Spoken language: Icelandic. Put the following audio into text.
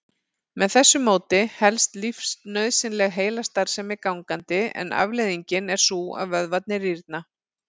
Með þessu móti helst lífsnauðsynleg heilastarfsemi gangandi en afleiðingin er sú að vöðvarnir rýrna.